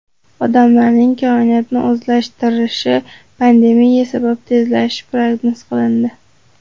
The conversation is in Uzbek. Odamlarning koinotni o‘zlashtirishi pandemiya sabab tezlashishi prognoz qilindi.